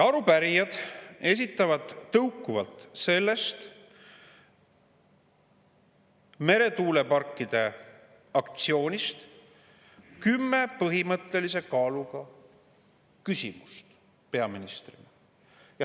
Arupärijad esitavad tõukuvalt sellest meretuuleparkide aktsioonist kümme põhimõttelise kaaluga küsimust peaministrile.